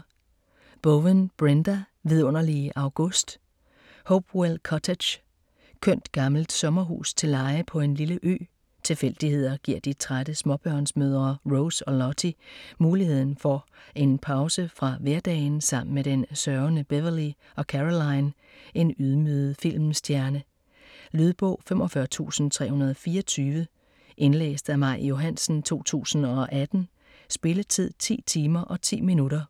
Bowen, Brenda: Vidunderlige august Hopewell Cottage. Kønt gammelt sommerhus til leje på en lille ø. Tilfældigheder giver de trætte småbørnsmødre Rose og Lottie muligheden for en pause fra hverdagen sammen med den sørgende Beverly og Caroline, en ydmyget filmstjerne. Lydbog 45324 Indlæst af Maj Johansen, 2018. Spilletid: 10 timer, 10 minutter.